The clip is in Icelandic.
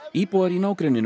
íbúar